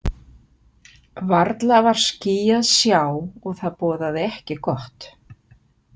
Varla var ský að sjá, og það boðaði ekki gott.